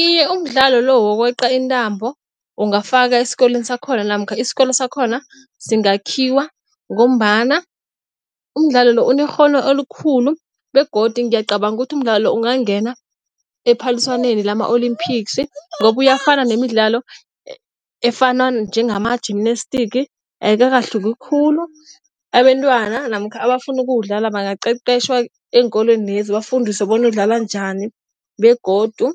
Iye, umdlalo lo wokweqa intambo ungafakwa esikolweni sakhona namkha isikolo sakhona singakhiwa ngombana umdlalo lo unekghono elikhulu begodu ngiyacabanga ukuthi umdlalo lo ungangena ephaliswaneni lama-olympics ngoba uyafana nemidlalo efana njengama-gymnastic ayikakahluki khulu. Abentwana namkha abafuna ukuwudlala bangabaqeqetjha eenkolwenezi bafundiswe bona udlalwa njani begodu